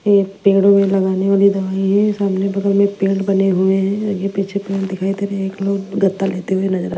एक पेड़ में लगाने वाली दवाई है सामने बगल में बने हुए हैं आगे पीछे दिखाई दे एक लोग गद्दा लेते हुए नजर आ--